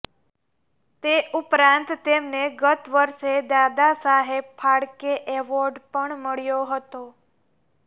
તે ઉપરાંત તેમને ગત વર્ષે દાદા સાહેબ ફાળકે એવોર્ડ પણ મળ્યો હતો